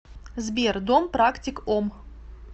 сбер дом практик ом